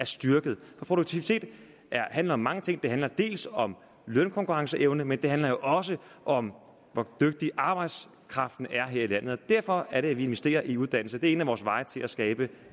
styrket produktivitet handler om mange ting det handler dels om lønkonkurrenceevne men det handler jo også om hvor dygtig arbejdskraften er her i landet det er derfor at vi investerer i uddannelse det er en af vores veje til at skabe